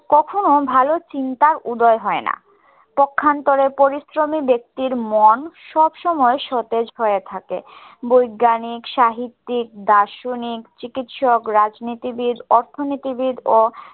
কখনও ভালো চিন্তার উদয় হয় না। পক্ষান্তরে পরিশ্রমী ব্যক্তির মন সবসময় সতেজ হয়ে থাকে। বৈজ্ঞানিক, সাহিত্যিক, দার্শনিক, চিকিৎসক, রাজনীতিবিদ, অর্থনীতিবিদ ও